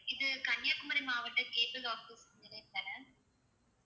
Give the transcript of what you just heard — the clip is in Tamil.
இது கன்னியாகுமரி மாவட்ட cable office தான?